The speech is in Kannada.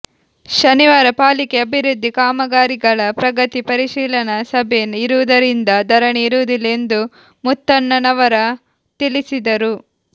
ಶನಿವಾರ ಪಾಲಿಕೆ ಅಭಿವೃದ್ಧಿ ಕಾಮಗಾರಿಗಳ ಪ್ರಗತಿ ಪರಿಶೀಲನಾ ಸಭೆ ಇರುವುದರಿಂದ ಧರಣಿ ಇರುವುದಿಲ್ಲ ಎಂದು ಮುತ್ತಣ್ಣವರ ತಿಳಿಸಿದರು